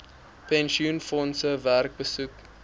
pensioenfondse werk besoek